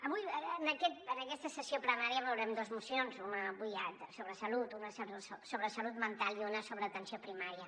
avui en aquesta sessió plenària veurem dues mocions una sobre salut sobre salut mental i una sobre atenció primària